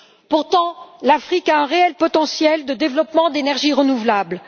Pourtant, l'Afrique a un réel potentiel de développement d'énergies renouvelables.